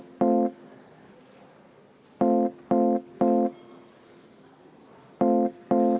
Nii otsustas juhatus.